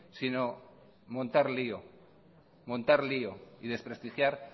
sino montar lío montar lío y desprestigiar